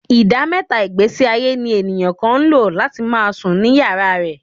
Ìdá mẹ́ta ìgbésíayé ní èèyàn kan ń lò. láti máa sùn ní yàrá rẹ̀